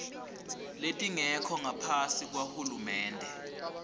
letingekho ngaphasi kwahulumende